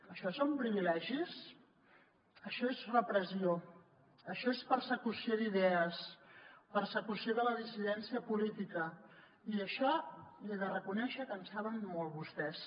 això són privilegis això és repressió això és persecució d’idees persecució de la dissidència política i d’això li he de reconèixer que en saben molt vostès